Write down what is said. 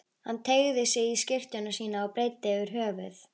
Hann teygði sig í skyrtuna sína og breiddi yfir höfuð.